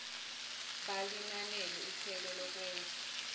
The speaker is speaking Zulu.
balinanele ikhwelo lokwenza